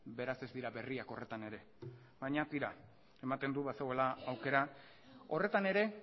beraz ez dira berriak horretan ere baina tira ematen du bazegoela aukera horretan ere